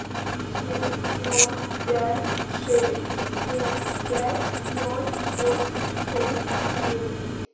семь ноль пять шесть семь пять ноль восемь шесть девять